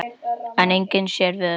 En enginn sér við öllum.